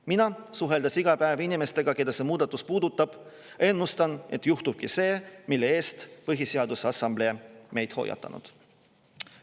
Mina, suheldes iga päev inimestega, keda see muudatus puudutab, ennustan, et juhtubki see, mille eest Põhiseaduse Assamblee meid hoiatas.